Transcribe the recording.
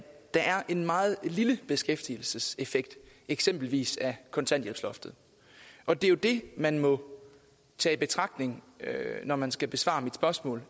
der er en meget lille beskæftigelseseffekt af eksempelvis kontanthjælpsloftet og det er jo det man må tage i betragtning når man skal besvare mit spørgsmål